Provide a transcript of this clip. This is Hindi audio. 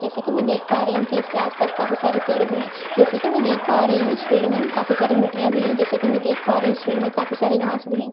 जैसे कि मैं देख पा रही हूं कि इसके आसपास काफी सारे पेड़ भी हैं जैसे कि मैं देख पा रही हूं इस फील्ड में काफी सारी मिट्टियां भी हैं जैसे कि मैं देख पा रही हूं इस फील्ड में काफी सारे घांस भी हैं।